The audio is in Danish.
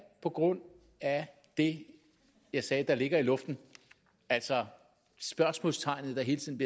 på grund af det jeg sagde der ligger i luften altså spørgsmålstegnet der hele tiden